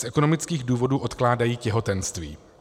Z ekonomických důvodů odkládají těhotenství.